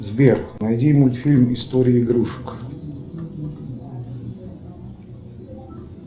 сбер найди мультфильм история игрушек